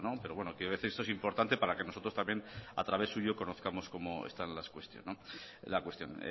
pero bueno quiero decir esto es importante para que nosotros también a través suyo conozcamos cómo está la cuestión